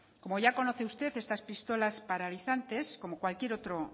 como ya conoce usted estas pistolas paralizantes como cualquier otra